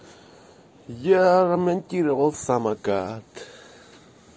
я монтировал самокат